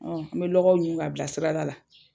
an bɛ lɔgɔw ɲun ka bila sirada la.